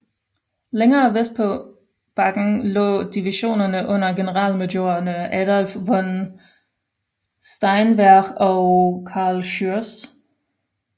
LÆngere vestpå på bakken lå divisionerne under generalmajorerne Adolph von Steinwehr og Carl Schurz